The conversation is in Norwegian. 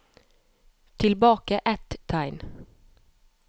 Tilbake ett tegn